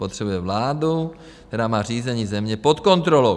Potřebuje vládu, která má řízení země pod kontrolou.